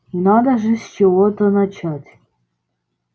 и надо же с чего-то начать